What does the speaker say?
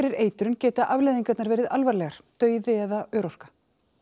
eitrun geta afleiðingarnar verið alvarlegar dauði eða örorka